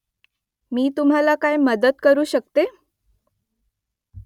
मी तुम्हाला काय मदत करू शकते ?